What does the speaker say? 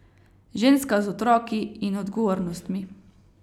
Ženska z otroki in odgovornostmi.